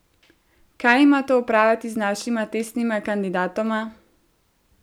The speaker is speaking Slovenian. Kaj ima to opraviti z našima testnima kandidatoma?